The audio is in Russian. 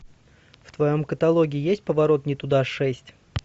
в твоем каталоге есть поворот не туда шесть